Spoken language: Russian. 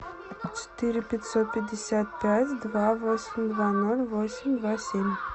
четыре пятьсот пятьдесят пять два восемь два ноль восемь два семь